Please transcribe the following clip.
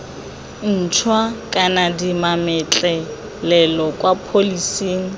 ntšhwa kana dimametlelelo kwa pholising